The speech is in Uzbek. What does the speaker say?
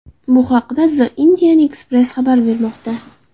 Bu haqda The Indian Express xabar bermoqda .